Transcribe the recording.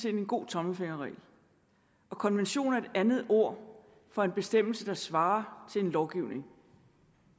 en god tommelfingerregel og konvention er et andet ord for en bestemmelse der svarer til en lovgivning